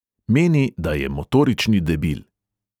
Meni, da je motorični debil.